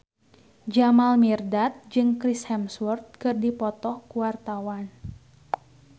Jamal Mirdad jeung Chris Hemsworth keur dipoto ku wartawan